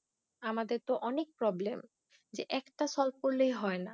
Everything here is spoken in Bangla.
আমাদের তো অনেক Problem যে একটা Solve করলেই হয় না।